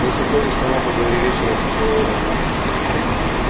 если хочешь сама поговори вечером с человеком